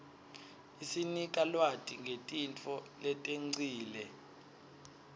isinika lwati ngetintfo letengcile